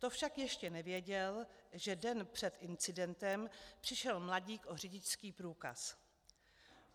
To však ještě nevěděl, že den před incidentem přišel mladík o řidičských průkaz.